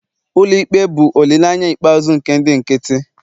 ụlọ ikpe bụ olileanya ikpeazụ nke ndị nkịtị